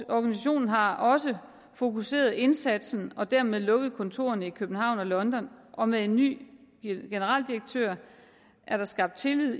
organisationen har også fokuseret indsatsen og dermed lukket kontorerne i københavn og london og med en ny generaldirektør er der skabt tillid